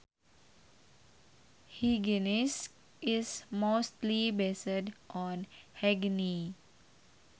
Hygienics is mostly based on hygiene